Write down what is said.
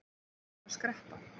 Þarft þú að skreppa?